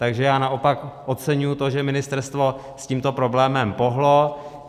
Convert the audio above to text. Takže já naopak oceňuji to, že ministerstvo s tímto problémem pohnulo.